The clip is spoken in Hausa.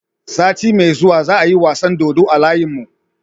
Sati me zuwa za a yi wasan dodo a layin mu